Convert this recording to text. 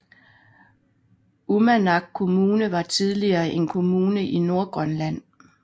Uummannaq Kommune var tidligere en kommune i Nordgrønland